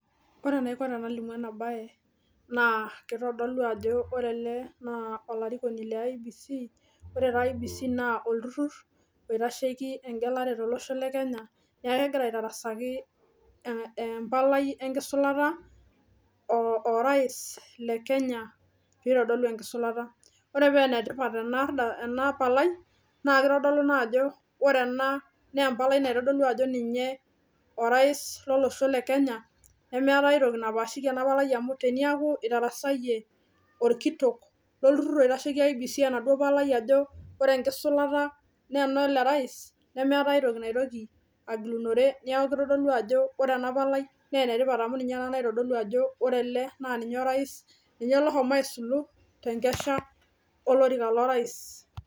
Ore enaiko tenalimu ena baye naa kitodolu ajo ore ele naa olarikoni le IEBC ore taa IEBC naa olturrur oitasheki engelare tolosho le kenya niaku kegira aitarasaki eh empalai enkisulata o orais le kenya pitodolu enkisulata ore penetipat ena arda ena palai naa kitodolu naa ajo ore ena nempalai naitodolu ajo ninye orais lolosho le kenya nemeetae aitoki napashiki ena palai amu teniaku itarasayie